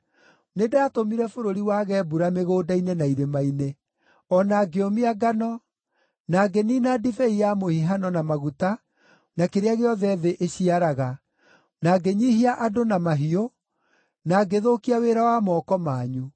Nĩndatũmire bũrũri wage mbura mĩgũnda-inĩ na irĩma-inĩ, o na ngĩũmia ngano, na ngĩniina ndibei ya mũhihano na maguta na kĩrĩa gĩothe thĩ ĩciaraga, na ngĩnyiihia andũ na mahiũ, na ngĩthũkia wĩra wa moko manyu.”